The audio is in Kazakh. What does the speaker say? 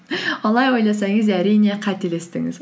олай ойласаңыз әрине қателестіңіз